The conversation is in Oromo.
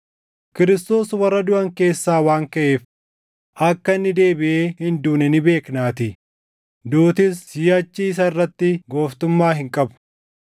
Kiristoos warra duʼan keessaa waan kaʼeef, akka inni deebiʼee hin duune ni beeknaatii; duutis siʼachi isa irratti gooftummaa hin qabu.